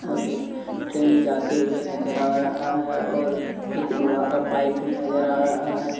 और एक ट्रेन जाते हुए नजर आ रहा है और एक लोहा का पाइप भी नजर आ रहा है ।